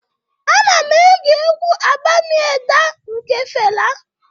Ana m ege egwu 'Abami Eda' nke Fela